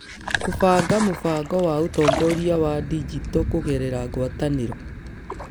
Kũbanga mũbango wa ũtongoria wa digito kũgerera ngwatanĩro.